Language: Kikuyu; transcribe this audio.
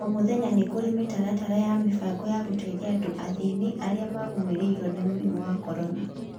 O mũthenya nĩkurĩ mĩtaratara ya mĩbango ya gũteithia andũ athĩni arĩa magũmeiruo ni mũrimo wa corona